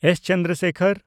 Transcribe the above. S. Chandrasekhar